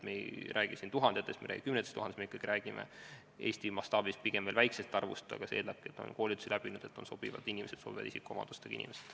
Me ei räägi tuhandetest, me ei räägi kümnetest tuhandetest, me räägime Eesti mastaabis pigem väikesest arvust, aga see eeldabki, et koolituse läbivad vaid sobivate isikuomadustega inimesed.